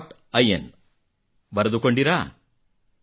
in ಬರೆದುಕೊಂಡಿರಾ